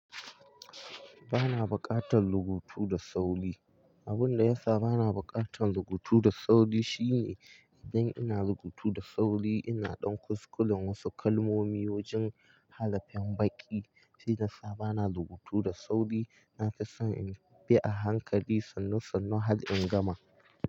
Bana bukatan rubutu da sauri. Abin da yasa bana bukatan rubutu da sauri shine idan ina rubutu da sauri ina ɗan kuskuren wasu kalmomi wajen hara fin baƙi. Shi yasa bana rubutu da sauri nake son in bi a hankali sannu sannu har in gama.